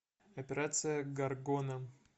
операция горгона